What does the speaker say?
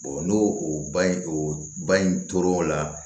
n'o o ba ye o bay in tor'o la